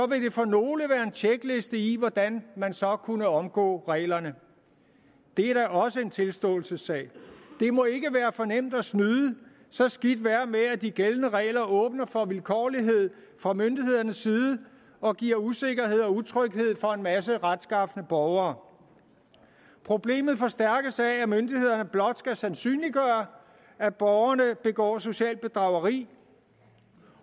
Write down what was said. vil det for nogle være en tjekliste i hvordan man så kunne omgå reglerne det er da også en tilståelsessag det må ikke være for nemt at snyde så skidt være med at de gældende regler åbner for vilkårlighed fra myndighedernes side og giver usikkerhed og utryghed for en masse retskafne borgere problemet forstærkes af at myndighederne blot skal sandsynliggøre at borgerne begår socialt bedrageri